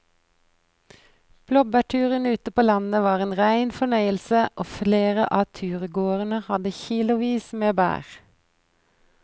Blåbærturen ute på landet var en rein fornøyelse og flere av turgåerene hadde kilosvis med bær.